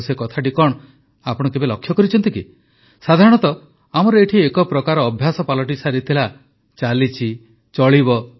ଆଉ ସେ କଥାଟି କଣ ସେକଥା ଆପଣ କେବେ ଲକ୍ଷ୍ୟ କରିଛନ୍ତି କି ସାଧାରଣତଃ ଆମର ଏଠି ଏକ ପ୍ରକାର ଅଭ୍ୟାସ ପାଲଟି ସାରିଥିଲା ଚାଲିଛି ଚଳିବ